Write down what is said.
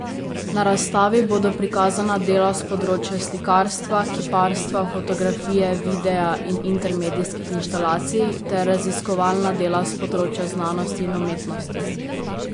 Na razstavi bodo prikazana dela s področja slikarska, kiparstva, fotografije, videa in intermedijskih inštalacij ter raziskovalna dela s področja znanosti in umetnosti.